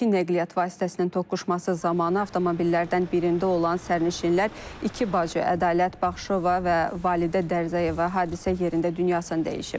İki nəqliyyat vasitəsinin toqquşması zamanı avtomobillərdən birində olan sərnişinlər iki bacı Ədalət Baxışova və Validə Dərzəyeva hadisə yerində dünyasını dəyişib.